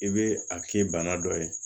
I bɛ a k'i bana dɔ ye